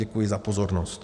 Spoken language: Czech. Děkuji za pozornost.